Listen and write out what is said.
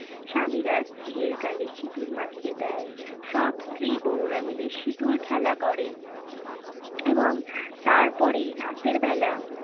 স্বামীরা স্ত্রীয়ের গালে সিঁদুর মাখিয়ে দেয়। সব স্ত্রী বৌরা মিলে সিঁদুর খেলা করে। এবং তার পরেই রাতের বেলা